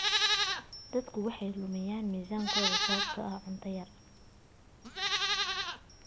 Dadku waxay lumiyaan miisaankooda sababtoo ah cunto yar.